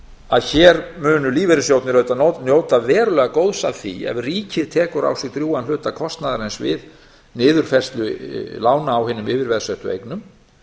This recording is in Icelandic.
að hér munu lífeyrissjóðirnir auðvitað njóta verulega góðs af því ef ríkið tekur á sig drjúgan hluta kostnaðarins við niðurfærslu lána á hinum yfirveðsettu eignum